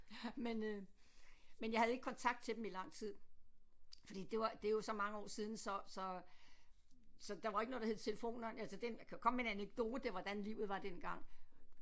Men øh men jeg havde ikke kontakt til dem i lang tid fordi det var det er jo så mange år siden så så så der var ikke noget der hed telefoner altså den jeg kan komme med en anekdote hvordan livet var dengang